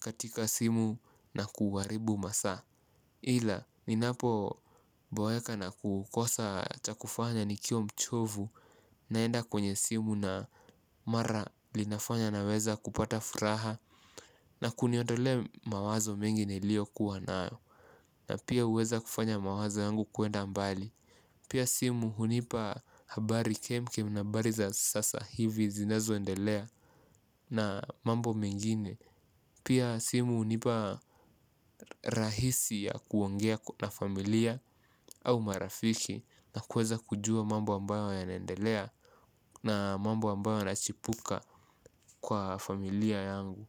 katika simu na kuharibu masaa. Ila, ni napo boeka na kukosa cha kufanya nikiwa mchovu naenda kwenye simu na mara linafanya na weza kupata furaha na kuniodole mawazo mengi nilio kuwa nao. Na pia huweza kufanya mawazo yangu kuenda mbali. Pia simu hunipa habari kemkem na habari za sasa hivi zinezoendelea na mambo mengine. Pia simu hunipa rahisi ya kuongea na familia au marafiki na kuweza kujua mambo ambayo yanendelea na mambo ambayo yanachipuka kwa familia yangu.